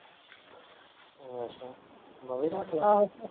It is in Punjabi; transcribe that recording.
ਅੱਛਾ ਮੈਂ ਵੀ ਰੱਖ ਲਾ ਹਾਂ